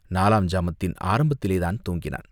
நாலாம் ஜாமத்தின் ஆரம்பத்திலேதான் தூங்கினான்.